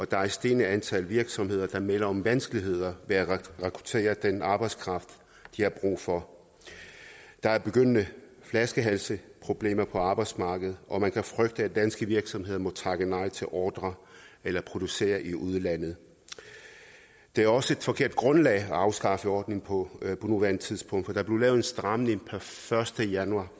der er et stigende antal virksomheder der melder om vanskeligheder med at rekruttere den arbejdskraft de har brug for der er begyndende flaskehalsproblemer på arbejdsmarkedet og man kan frygte at danske virksomheder må takke nej til ordrer eller producere i udlandet det er også et forkert grundlag at afskaffe ordningen på på nuværende tidspunkt for der blev lavet en stramning per første januar